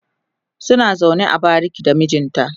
suna zaune a bariki da mijinta